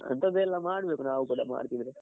ಅಂಥದೆಲ್ಲ ಮಾಡ್ಬೇಕು ನಾವ್ ಕೂಡ ಮಾಡತಿದ್ರೆ .